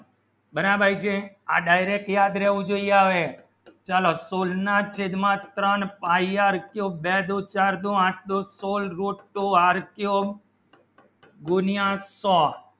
બરાબર છે આ direct યાદ રાહુ જાવે ચલો full માં sigma ત્રણ pie r cube બે દો ચાર દો આઠ દો full root cube r cube ગુણ્યાં છ